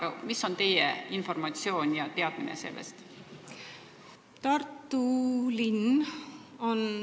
Aga milline on teie informatsioon ja millised on teadmised selle kohta?